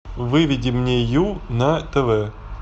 выведи мне ю на тв